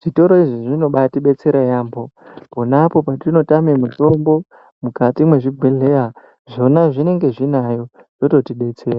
Zvitoro izvi zvinobaitibetsera kwemene pona apo petinotane mitombo mukati mwezvibhedhlera zvona zvinenge zvinayo, zvototibetsera.